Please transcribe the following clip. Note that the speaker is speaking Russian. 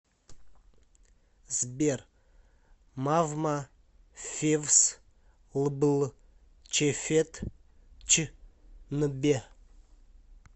сбер мавма февс лбл чефет ч нбе